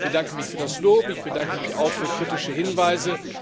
Ich bedanke mich für das Lob, ich bedanke mich auch für kritische Hinweise.